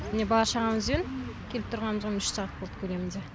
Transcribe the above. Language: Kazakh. міне бала шағамызбен келіп тұрғанымызға міне үш сағат болды көлемінде